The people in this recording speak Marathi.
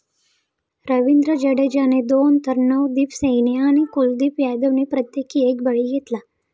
रविंद्र जडेजाने दोन तर नवदीप सैनी आणि कुलदीप यादवने प्रत्येकी एक बळी घेतला.